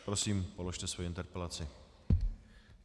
Prosím, položte svoji interpelaci.